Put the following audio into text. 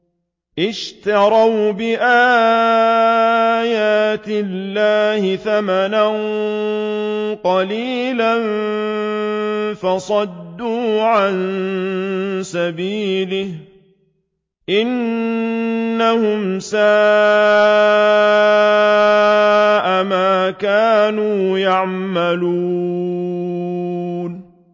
اشْتَرَوْا بِآيَاتِ اللَّهِ ثَمَنًا قَلِيلًا فَصَدُّوا عَن سَبِيلِهِ ۚ إِنَّهُمْ سَاءَ مَا كَانُوا يَعْمَلُونَ